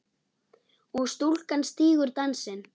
og stúlkan stígur dansinn